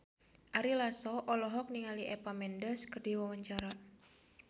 Ari Lasso olohok ningali Eva Mendes keur diwawancara